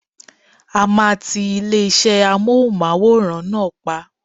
A máa tí ilé-iṣé Amóhùnmáwòrán náà pa.